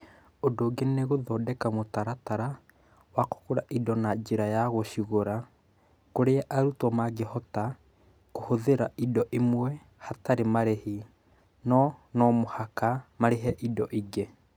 Ũndũ ũngĩ nĩ gũthondeka mũtaratara wa kũgũra indo na njĩra ya gũcigũra, kũrĩa arutwo mangĩhota kũhũthĩra indo imwe hatarĩ marĩhi, no no mũhaka marĩhe indo ingĩ.